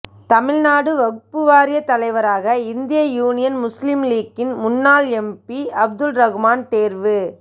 தமிழ்நாடு வக்பு வாரிய தலைவராக இந்திய யூனியன் முஸ்லீம் லீக்கின் முன்னாள் எம்பி அப்துல்ரகுமான் தேர்வு